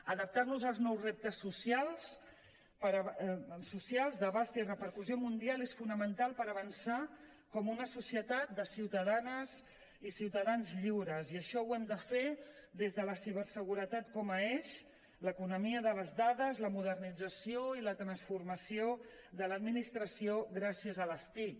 adaptar nos als nous reptes socials d’abast i repercussió mundial és fonamental per avançar com una societat de ciutadanes i ciutadans lliures i això ho hem de fer des de la ciberseguretat com a eix l’economia de les dades la modernització i la transformació de l’administració gràcies a les tic